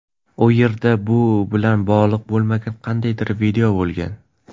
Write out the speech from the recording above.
U yerda bu bilan bog‘liq bo‘lmagan qandaydir video bo‘lgan.